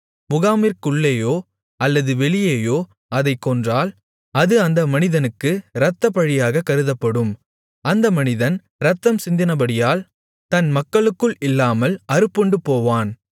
முகாமிற்குள்ளேயோ அல்லது வெளியேயோ அதைக் கொன்றால் அது அந்த மனிதனுக்கு இரத்தப்பழியாகக் கருதப்படும் அந்த மனிதன் இரத்தம் சிந்தினபடியால் தன் மக்களுக்குள் இல்லாமல் அறுப்புண்டுபோவான்